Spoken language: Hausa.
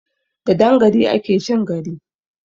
Da dan gari ake chin gari!